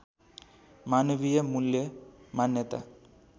मानवीय मूल्य मान्यता